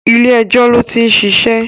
Ilé ẹjọ́ ló ti ń ṣiṣẹ́